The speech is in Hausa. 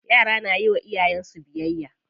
Yara na yiwa iyayen su biyayya.